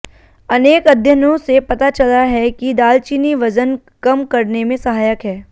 अनेक अध्ययनों से पता चला है कि दालचीनी वज़न कम करने में सहायक है